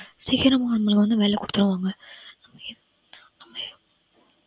சீக்கரமா அவங்களுக்கு வந்து வேலை குடுத்துருவாங்க